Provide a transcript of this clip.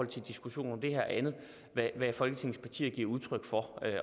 til diskussionen om det her andet hvad folketingets partier giver udtryk for